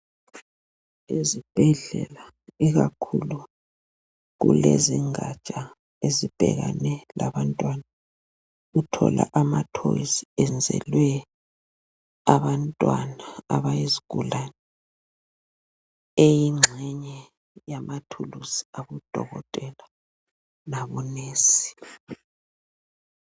Ezibhedlela, ikakhulu kulezi ngatsha ezibhekane labantwana uthola amathoyizi enzelwe abantwana abayizgulane eyingxenye yamathulusi abadokotela labonensi.